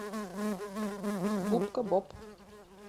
губка боб